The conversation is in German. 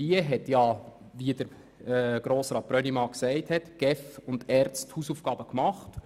Wie Grossrat Brönnimann gesagt hat, haben die ERZ und die GEF ihre Hausaufgaben gemacht.